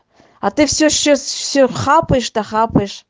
а ты все сейчас все хапаешь да хапаешь